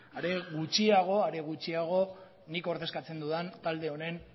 are gutxiago nik ordezkatzen dudan talde honen